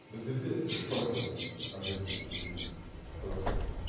біздерде үш процент объем субсидирования қазақстанда